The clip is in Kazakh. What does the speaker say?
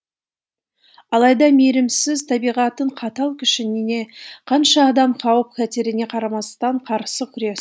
алайда мейірімсіз табиғаттың қатал күшіне қанша адам қауіп қатеріне қарамастан қарсы күрес